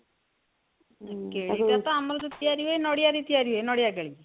କେଳି ଟା ତ ଆମର ଯୋଉ ତିଆରି ହୁଏ ନଡ଼ିଆ ରେ ତିଆରି ହୁଏ ନଡ଼ିଆ କେଳି